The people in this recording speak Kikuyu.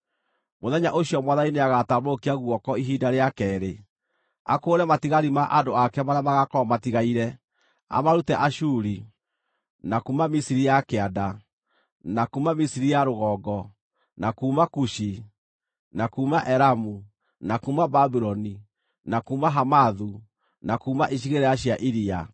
Mũthenya ũcio Mwathani nĩagatambũrũkia guoko ihinda rĩa keerĩ, akũũre matigari ma andũ ake marĩa magaakorwo matigaire, amarute Ashuri, na kuuma Misiri ya Kĩanda, na kuuma Misiri ya Rũgongo, na kuuma Kushi, na kuuma Elamu, na kuuma Babuloni, na kuuma Hamathu, na kuuma icigĩrĩra cia iria.